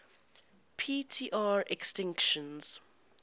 p tr extinction